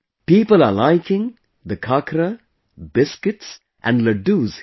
People are liking the khakra, biscuits and laddoos here